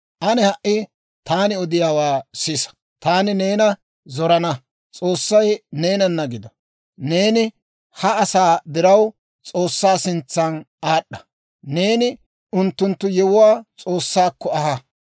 Ane ha"i taani odiyaawaa sisa; taani neena zorana; S'oossay neenana gido. Neeni ha asaa diraw S'oossaa sintsa aad'd'a; neeni unttunttu yewuwaa S'oossaakko aha.